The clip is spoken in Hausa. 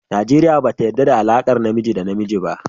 Najeriya bata yarɗa da alaƙar namiji da namiji ba.